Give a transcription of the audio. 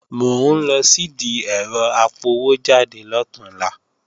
Mò ń lọ sìdí ẹ̀rọ apọwójáde lọ̀túnla